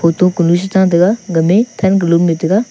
photo konu se chan tega ga me than ke lum le tega.